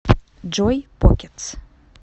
джой покетс